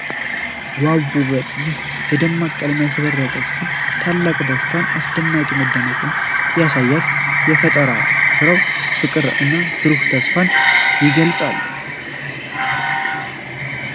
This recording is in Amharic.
ዋው ውበት! ይህ በደማቅ ቀለም ያሸበረቀ ክፍል ታላቅ ደስታንና አስደናቂ መደነቅን ያሳያል። የፈጠራ ሥራው ፍቅርን እና ብሩህ ተስፋን ይገልጻል ።